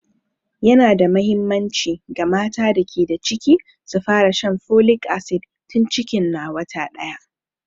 Yana da muhimmanci ga mata da ke da ciki su fara shan folic asid tun cikin na wata daya.